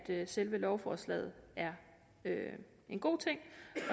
selve lovforslaget er en god ting